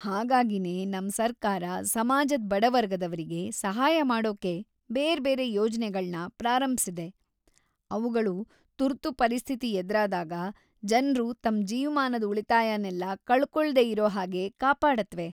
ಹಾಗಾಗಿನೇ ನಮ್ ಸರ್ಕಾರ ಸಮಾಜದ್ ಬಡ ವರ್ಗದವ್ರಿಗೆ ಸಹಾಯ ಮಾಡೋಕೆ ಬೇರ್ಬೇರೆ ಯೋಜ್ನೆಗಳ್ನ ಪ್ರಾರಂಭ್ಸಿದೆ, ಅವ್ಗಳು ತುರ್ತು ಪರಿಸ್ಥಿತಿ ಎದ್ರಾದಾಗ ಜನ್ರು ತಮ್ ಜೀವ್ಮಾನದ್ ಉಳಿತಾಯನೆಲ್ಲ ಕಳ್ಕೊಳ್ದೇ ಇರೋ ಹಾಗೆ ಕಾಪಾಡತ್ವೆ.